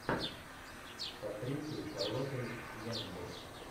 с актрисой шарлоттой генсбур